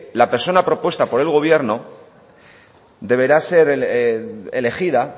la personas propuesta por el gobierno deberá ser elegida